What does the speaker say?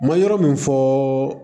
N bɛ yɔrɔ min fɔ